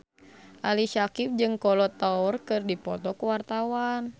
Ali Syakieb jeung Kolo Taure keur dipoto ku wartawan